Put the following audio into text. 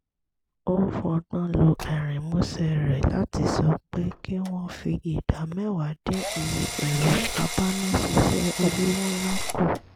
ó fọgbọ́n lo ẹ̀rín músẹ́ rẹ̀ láti sọ pé kí wọ́n fi ìdá mẹ́wàá dín iye ẹ̀rọ abánáṣiṣẹ́ olówó ńlá kù